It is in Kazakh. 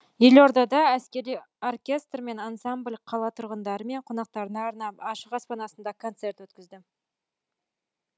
елордада әскери оркестр мен ансамбль қала тұрғындары мен қонақтарына арнап ашық аспан астында концерт өткізді